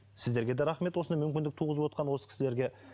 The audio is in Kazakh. сіздерге де рахмет осындай мүмкіндік туғызып отырған осы кісілерге